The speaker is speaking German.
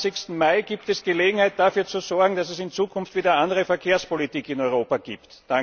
25.Mai gibt es Gelegenheit, dafür zu sorgen, dass es in Zukunft wieder eine andere Verkehrspolitik in Europa gibt.